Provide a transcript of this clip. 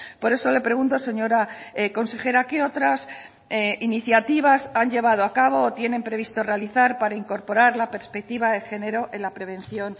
por eso le pregunto señora consejera qué otras iniciativas han llevado a cabo o tienen previsto realizar para incorporar la perspectiva de género en la prevención